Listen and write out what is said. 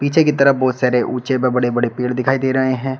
पीछे की तरफ बहोत सारे उंचे व बड़े बड़े पेड़ दिखाई दे रहे हैं।